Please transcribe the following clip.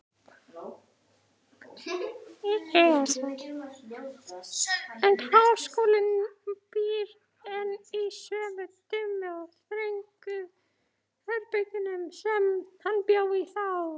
En háskólinn býr enn í sömu, dimmu og þröngu herbergjunum, sem hann bjó í þá.